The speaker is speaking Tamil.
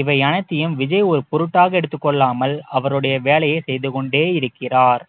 இவை அனைத்தையும் விஜய் ஒரு பொருட்டாக எடுத்துக் கொள்ளாமல் அவருடைய வேலையை செய்து கொண்டே இருக்கிறார்